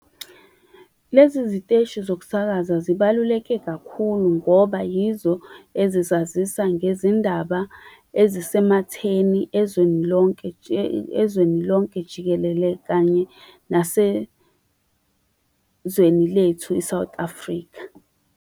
Lezi ziteshi sokusakaza zibaluleke kakhulu ngoba yizo ezizazisa ngezindaba ezisematheni ezweni lonke ezweni lonke jikelele kanye nasezweni lethu i-South Africa.